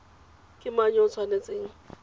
ke mang yo o tshwanetseng